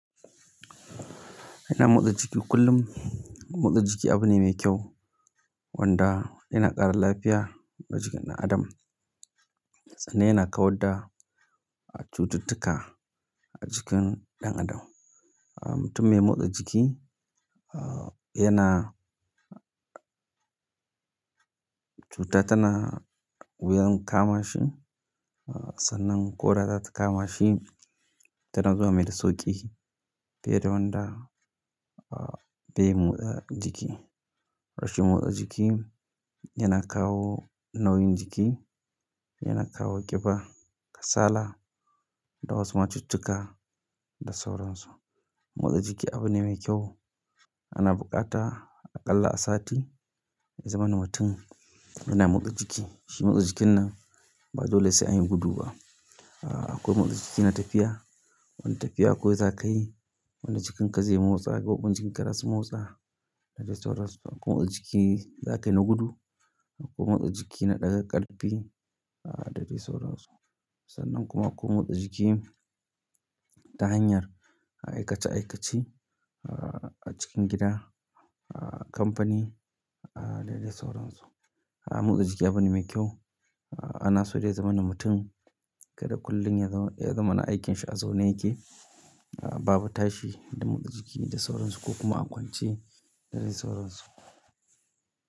Kana motsa jiki kullum. Motsa jiki abu ne mai kyau wanda yana ƙara lafiya na jikin ɗan adam. Sannan yana kawar da cututtuka a jikin ɗan adam. Mutum mai motsa jiki, yana cuta tana wuyan kama shi. Sannan ko da ta kama shi, tana zuwa mai da sauƙi fiye da wanda bai motsa jiki. Rashin motsa jiki yana kawo nauyin jiki, yana kawo ƙiba, kasala, da wasu ma cututtuka da sauran su. Motsa jiki abu ne mai kyau ana buƙata aƙalla a sati. Ya zamana mutum yana motsa jiki, shi motsa jikin nan ba dole sai an yi gudu ba akwai motsa jiki na tafiya, wanda tafiya kawai zaka yi, wanda jikin ka zai motsa koɓan jikin ka ras motsa da dai sauran su. Akwai motsa jiki zakai na gudu, akwai motsa jiki na ɗaga ƙarfe da dai sauran su. Sannan kuma akwai motsa jiki ta hanyar aikace aikace a cikin gida, a kamfani da dai sauran su. Motsa jiki abu ne mai kyau ana so dai ya zaman mutum kada kullum ya zamana aikin shi a zaune yake ba bu tashi da motsa jiki da sauran su ko kuma a kwance da dai sauran su.